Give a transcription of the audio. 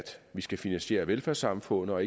vi skal finansiere velfærdssamfundet og